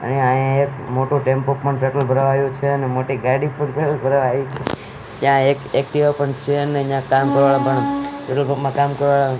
અહીંયા અહીંયા એક મોટું ટેમ્પો પણ પેટ્રોલ ભરાવા આવ્યું છે અને મોટી ગાડી પણ પેટ્રોલ ભરાવા આયી છે ત્યાં એક એક્ટિવા પણ છે અને ન્યા કામ કરવા પણ પેટ્રોલ પંપ માં કામ કરવા--